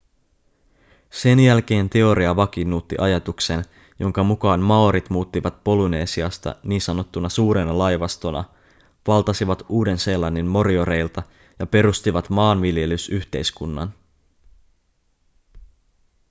sen jälkeen teoria vakiinnutti ajatuksen jonka mukaan maorit muuttivat polynesiasta ns suurena laivastona valtasivat uuden-seelannin morioreilta ja perustivat maanviljelysyhteiskunnan